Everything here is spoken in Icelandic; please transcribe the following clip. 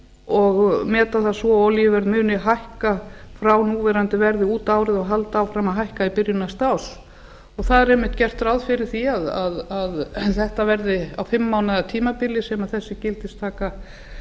og meta það svo að olíuverð muni hækka frá núverandi verði út árið og halda áfram að hækka í byrjun næsta árs það er einmitt gert ráð fyrir því að þetta verði á fimm mánaða tímabili sem þessi gildistaka